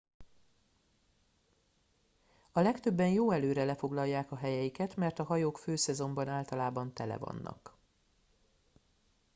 a legtöbben jó előre lefoglalják a helyeiket mert a hajók főszezonban általában tele vannak